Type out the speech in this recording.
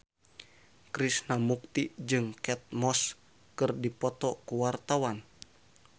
Krishna Mukti jeung Kate Moss keur dipoto ku wartawan